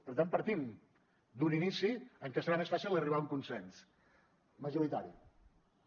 per tant partim d’un inici en què serà més fàcil arribar a un consens majoritari